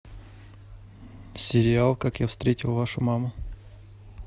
сериал как я встретил вашу маму